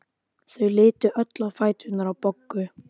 Þau litu öll á fæturna á Boggu.